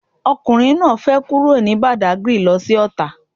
Ọkùnrin náà fẹ kúrò ní Badagry lo sí Ọ̀tà